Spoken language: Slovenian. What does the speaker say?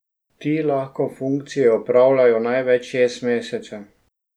Ti lahko funkcijo opravljajo največ šest mesecev.